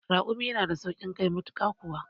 Raƙumi yana da sauƙin kai matuƙa kuwa